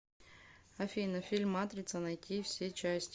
афина фильм матрица найти все части